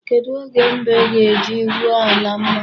Kedụ oge mbe ga-eji ruo ala mmuo?